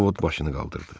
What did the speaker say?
Ovod başını qaldırdı.